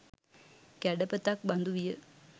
කැඩපතක් බඳු විය.